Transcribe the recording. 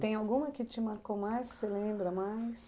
Tem alguma que te marcou mais, que você lembra mais?